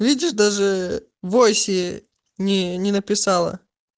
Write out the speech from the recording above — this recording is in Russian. видишь даже в войсе не написала